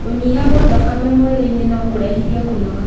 Kũnyiha gwa thakame mwĩrĩ-inĩ nokũrehithie kũnoga